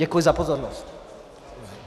Děkuji za pozornost.